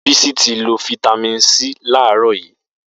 Bisi ti ló fitàmín sí làrọ̀ yi